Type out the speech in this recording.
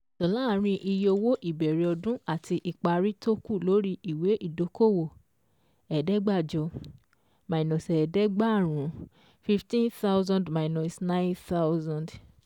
Láàárín iye owó ìbẹ̀rẹ̀ ọdún àti ìparí tó kù lórí ìwé ìdókòwò: ẹ̀ẹ́dẹ́gbàjọ minus ẹ̀ẹ́dẹ́gbàrún fifteen thousand minus nine thousand